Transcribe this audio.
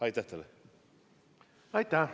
Aitäh teile!